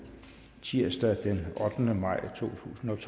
tirsdag den ottende maj totusinde